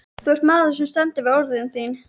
Þú ert maður sem stendur við orð þín.